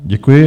Děkuji.